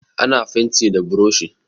Ana fenti da buroshi.